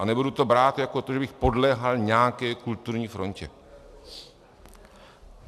A nebudu to brát jako to, že bych podléhal nějaké kulturní frontě.